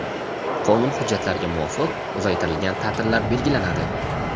qonun hujjatlariga muvofiq uzaytirilgan taʼtillar belgilanadi.